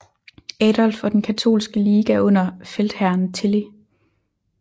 Adolf og den katolske liga under feltherren Tilly